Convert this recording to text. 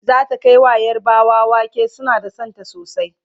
zata Kai wa yarbawa wake suna da Santa sosai